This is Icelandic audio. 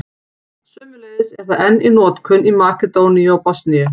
Sömuleiðis er það enn í notkun í Makedóníu og Bosníu.